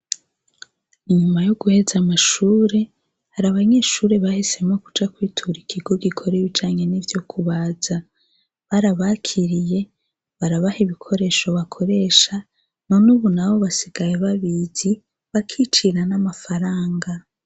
Inyuma yo guheza amashure hari abanyeshure bahisemwo kuja kwitura ikigo gikora ibijanye nivyokubaza barabakiriye barabaha ibikoresho bakoresha none ubunaho basigaye babizi bakicira n' amafaranga.